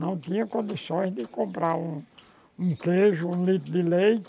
Não tinha condições de comprar um um queijo, um litro de leite,